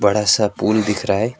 ऐसा पुल दिख रहा है।